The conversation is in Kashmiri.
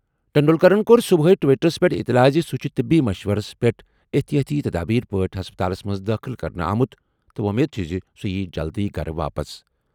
ٹنڈولکرن کوٚر صُبحٲے ٹویٹرَس پٮ۪ٹھ اطلاع زِ سُہ چھُ طبی مشورَس پٮ۪ٹھ احتیاطی تدابیر پٲٹھۍ ہسپتالَس منٛز دٲخٕل کرنہٕ آمُت تہٕ وۄمید چھِ زِ سُہ یِیہِ جلدٕیہ گَرٕ واپس۔